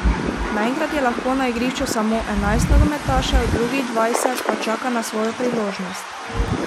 Naenkrat je lahko na igrišču samo enajst nogometašev, drugih dvajset pa čaka na svojo priložnost.